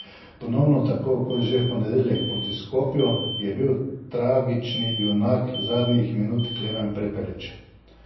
Ponovno, tako kot že v ponedeljek proti Skopju, je bil tragični junak zadnjih minut Klemen Prepelič.